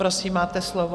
Prosím, máte slovo.